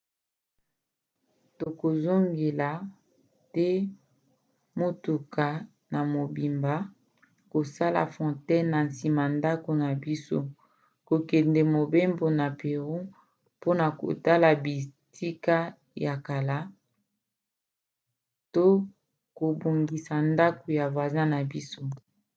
tokozongela te motuka na mobimba kosala fontaine na nsima ndako na biso kokende mobembo na pérou mpona kotala bitika ya kala to kobongisa ndako ya voisin na biso